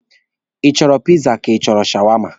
Ị chọrọ piza ka ị chọrọ shawama?